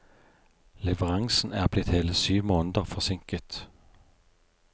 Leveransen er blitt hele syv måneder forsinket.